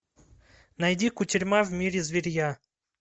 найди кутерьма в мире зверья